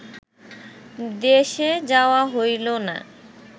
দেশে যাওয়া হইল না